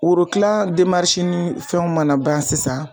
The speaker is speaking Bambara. Worokilan ni fɛnw mana ban sisan.